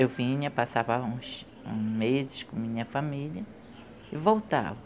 Eu vinha, passava uns, uns meses com a minha família e voltava.